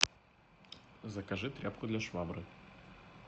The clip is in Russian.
закажи тряпку для швабры